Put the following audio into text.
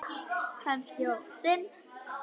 Kannski óttinn.